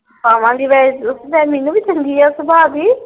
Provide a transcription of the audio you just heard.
ਪਾਵਾਂਗੀ ਵੈਸੇ ਮੀਨੁ ਵੀ ਚੰਗੀ ਆ ਸੁਭਾਹ ਦੀ।